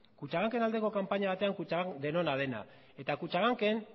kutxabank en aldeko kanpaina batean kutxabank denona dena eta kutxabank en